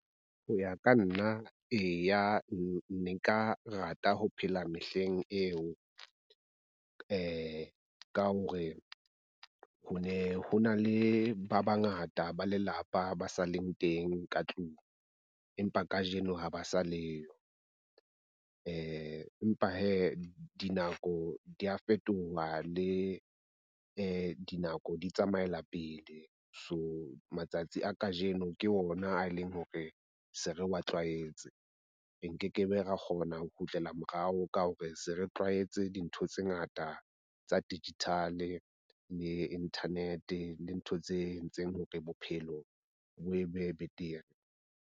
Ho ya ka nna eya, nka rata ho phela mehleng eo. Ka hore ho ne ho na le ba bangata ba lelapa ba sa leng teng ka tlung, empa kajeno ha ba sa leyo. Empa hee, dinako dia fetoha le di dinako, di tsamaela pele. So matsatsi a kajeno ke ona a e leng hore se re wa tlwaetse, re nkekebe ka kgona ho kgutlela morao ka hore se re tlwaetse dintho tse ngata tsa digital le internet le ntho tse entseng hore bophelo bo be betere.